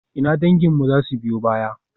Ina danginmu za su biyo baya?